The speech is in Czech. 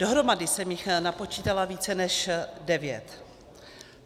Dohromady jsem jich napočítala více než devět.